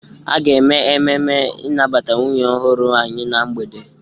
A ga-eme ememe ịnabata nwunye ọhụrụ anyị na mgbede.